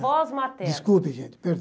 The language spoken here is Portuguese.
avós maternos. Desculpe gente,